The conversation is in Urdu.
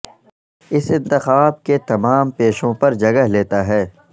اس انتخاب کے تمام پیشوں پر جگہ لیتا ہے